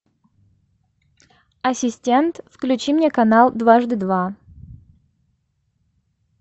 ассистент включи мне канал дважды два